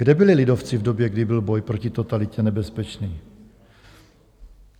Kde byli lidovci v době, kdy byl boj proti totalitě nebezpečný?